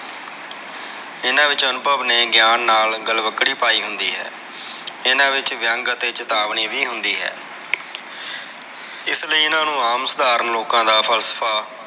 ਇਹਨਾਂ ਵਿਚ ਅਨੁਭਵ ਨੇ ਗਈਆਂ ਨਾਲ ਗਲਵਕੜੀ ਪਾਈ ਹੁੰਦੀ ਹੈ। ਇਹਨਾਂ ਵਿਚ ਵਿਅੰਗ ਅਤੇ ਚੇਤਾਵਨੀ ਵੀ ਹੁੰਦੀ ਹੈ ਐੱਸ ਲਯੀ ਇਹਨਾਂ ਨੂੰ ਆਮ ਸਾਧਾਰਨ ਲੋਕਾਂ ਦਾ ਫਲਫ਼ਾ।